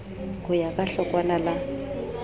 ho ya ka hlokwana la